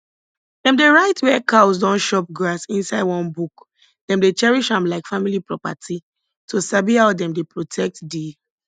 dem dey write where cows don chop grass inside one book dem dey cherish am like family property to sabi how dem dey protect the